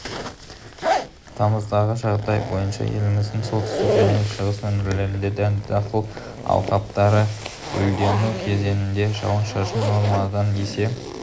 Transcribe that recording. тамыздағы жағдай бойынша еліміздің солтүстік және шығыс өңірлерінде дәнді дақыл алқаптары гүлдену кезеңінде жауын-шашын нормадан есе